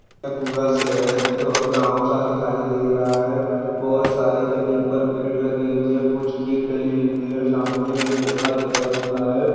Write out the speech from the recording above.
यहाँ पर पूरा शहर और गाव सा दीखाई दे रहा है बहुत सारे जमीन पर पेड़ लगे हुए ह कुछ खेत डले हुए है सामने एक लड़का बैठा हुआ है।